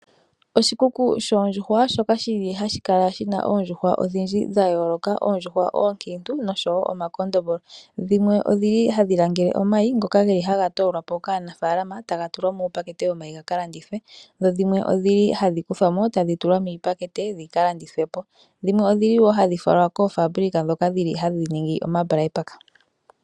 Oshikuku shoondjuhwa shoka hashi kala shi na oondjuhwa odhindji dha yooloka, oondjuhwa oonkiitu noshowo omakondombolo. Dhimwe ohadhi vala omayi ngoka haga toolwa po kaanafaalama taga tulwa muupakete womayi ga ka landithwe. Dho dhimwe ohadhi kuthwa mo tadhi tulwa miipakete dhi ka landithwe po, dhimwe ohadhi falwa koofaabulika ndhoka hadhi ningi onyama yondjuhwa.